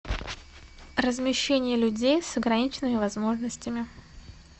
размещение людей с ограниченными возможностями